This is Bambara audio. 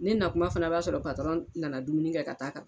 N'i na kuma fana b'a sɔrɔ patɔrɔn nana dumuni kɛ ka taa kan